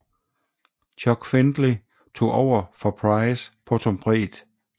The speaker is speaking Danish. Chuck Findley tog over for Price på trompet